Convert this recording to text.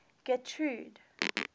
getrude